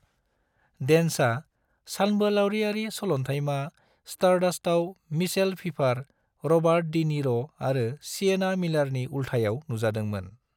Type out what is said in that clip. डेन्सआ सानबोलावरियारि सलन्थायमा स्टारडास्टआव मिशेल फिफार, रबार्ट डी नीर' आरो सिएना मिलारनि उल्थायाव नुजादोंमोन।